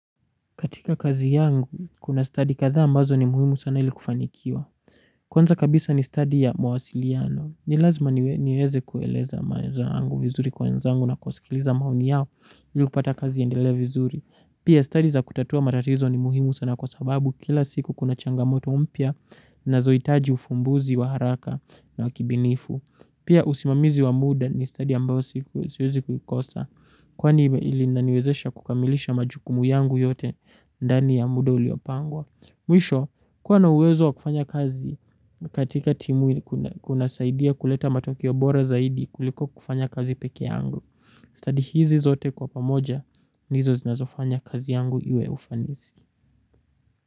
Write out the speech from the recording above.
Katika kazi yangu, kuna study kadhaa ambazo ni muhimu sana ili kufanikiwa. Kwanza kabisa ni study ya mawasiliano. Nilazma niweze kueleza maelezoangu vizuri kwa wenzangu na kusikiliza maoni yao ili kupata kazi iendelee vizuri. Pia study za kutatua matatizo ni muhimu sana kwa sababu kila siku kuna changamoto mpya zinazoitaji ufumbuzi wa haraka na wa kibinifu. Pia usimamizi wa muda ni study ambao siwezi kukosa kwani ili inaniwezesha kukamilisha majukumu yangu yote. Ndani ya muda uliopangwa mwisho kuwa na uwezo wa kufanya kazi. Katika timu kuna saidia kuleta matokeo bora zaidi kuliko kufanya kazi peke yangu Study hizi zote kwa pamoja ndizo zinazofanya kazi yangu iwe ya ufanisi.